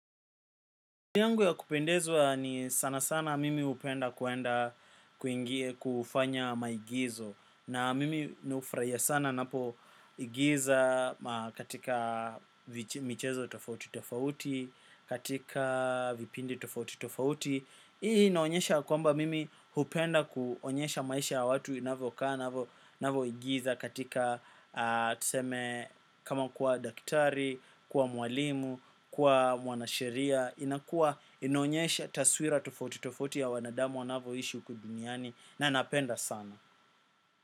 Ndiangu ya kupendezwa ni sana sana mimi upenda kuenda kuingie kufanya maigizo. Na mimi nufraia sana napo igiza katika michezo tofauti tofauti, katika vipindi tofauti tofauti. Hii naonyesha kwamba mimi upenda kuonyesha maisha watu inavo kaa, inavo igiza katika tuseme kama kuwa daktari, kuwa mwalimu, kuwa mwanasheria inakua inaonyesha taswira tofauti tofauti ya wanadamu wanavo ishi ukuduniani na napenda sana.